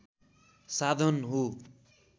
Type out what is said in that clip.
साधन हो